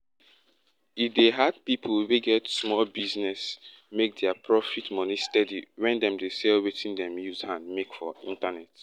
e dey hard pipu wey get sumol business make dia proft money steady when dem dey sell wetin dem use hand make for internet